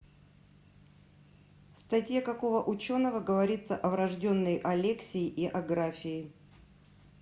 в статье какого ученого говорится о врожденной алексии и аграфии